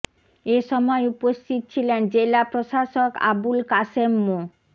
এ সময় উপস্থিত ছিলেন জেলা প্রশাসক আবুল কাশেম মো